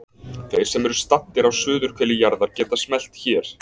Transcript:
Þeir sem eru staddir á suðurhveli jarðar geta smellt hér.